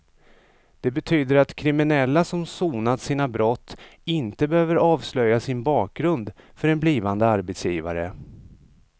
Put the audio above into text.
Det betyder att kriminella som sonat sina brott inte behöver avslöja sin bakgrund för en blivande arbetsgivare.